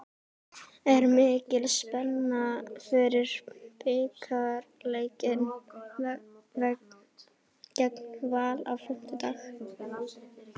Er mikil spenna fyrir bikarleikinn gegn Val á fimmtudag?